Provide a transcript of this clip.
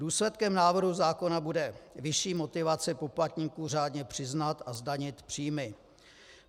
Důsledkem návrhu zákona bude vyšší motivace poplatníků řádně přiznat a zdanit příjmy.